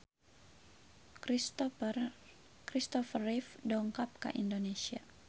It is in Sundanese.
Christopher Reeve dongkap ka Indonesia